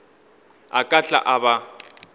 a ka tla a ba